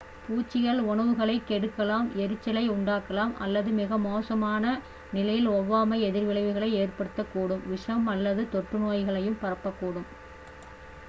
பூச்சிகள் உணவுகளைக் கெடுக்கலாம் எரிச்சலை உண்டாக்கலாம் அல்லது மிக மோசமான நிலையில் ஒவ்வாமை எதிர்விளைவுகளை ஏற்படுத்தக்கூடும் விஷம் அல்லது தொற்றுநோய்களையும் பரப்பக்கூடும்